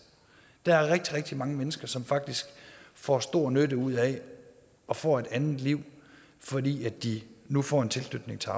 der er rigtig rigtig mange mennesker som faktisk får stor nytte ud af det og får et andet liv fordi de nu får en tilknytning til